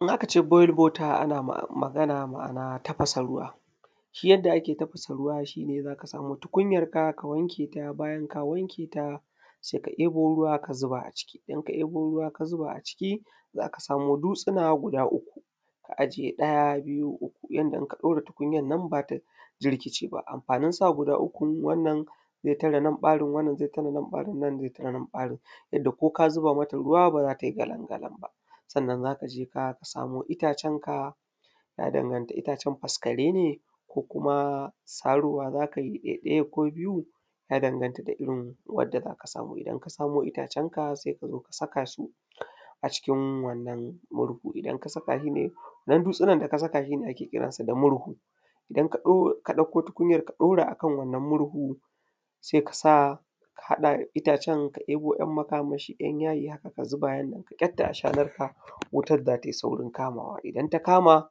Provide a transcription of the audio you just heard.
Idan aka ce boiled water ana magana ma'ana tafasa ruwa. Shi yanda ake tafasa ruwa shi ne za ka samo tukunyarka, ka wanke ta bayan ka wanke ta sai ka ‘yabo ruwa ka zuba a ciki, idan ka ‘yabo ruwa ka zuba a ciki za ka samo dutsuna guda uku. Ka aje ɗaya, biyu, uku yanda in ka ɗaura tukunyar nan ba za ta jirkice ba. Amfanin sa guda ukun wannan zai tare nan ɓarin, wannan zai tare nan ɓarin, wannan zai tare nan ɓarin yanda ko ka zuba mata ruwa ba za ta yi galan galan ba. Sannan za ka je fa ka samo itacenka. Ya danganta itacen faskare ne, ko kuma sarowa za ka yi ɗai-ɗaya ko biyu. Ya danganta da irin wanda za ka samu. Idan ka samo itacenka sai ka zo ka saka su, a cikin wannan murhu. Idan ka saka su. Wannan dutsunan da ka saka shi ne ake kiran sa da murhu. Idan ka ɗauko tukunyar ka ɗora a kan wannan murhu, sai ka sa ka haɗa itacen. Ka ‘yabo ‘yan makamashi, ‘yan yayi haka ka zuba haka ka kyatta ashanarka wutan za ta yi saurin kamawa. Idan ta kama